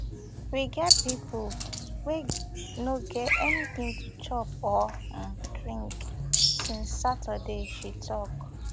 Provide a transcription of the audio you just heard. we get pipo wey no get anytin to chop or um drink since saturday she tok